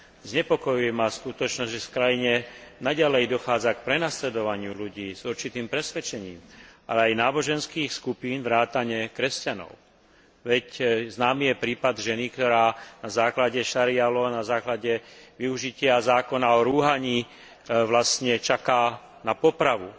Znepokojuje ma skutočnosť, že v krajine naďalej dochádza k prenasledovaniu ľudí s určitým presvedčením aj náboženských skupín vrátane kresťanov, veď známy je prípad ženy, ktorá na základe šarí´a law na základe využitia zákona o rúhaní vlastne čaká na popravu.